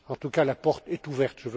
En tout cas, la porte est ouverte.